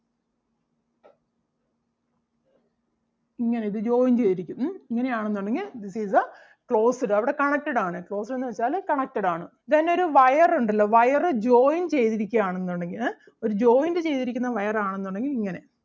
ഇങ്ങനെ ഇത് joint ചെയ്തിരിക്കും ഉം ഇങ്ങനെ ആണെന്നുണ്ടെങ്കിൽ this is the closed അവിടെ connected ആണ് closed എന്ന് വെച്ചാല് connected ആണ്. Then ഒരു wire ഒണ്ടല്ലോ wire join ചെയ്‌തിരിക്കുകയാണെന്നുണ്ടെങ്കിൽ ഏഹ് ഒരു joint ചെയ്തിരിക്കുന്ന wire ആണെന്നുണ്ടെങ്കിൽ ഇങ്ങനെ